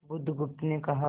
बुधगुप्त ने कहा